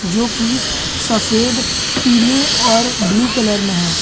जोकि सफेद पीले और ब्लू कलर में है।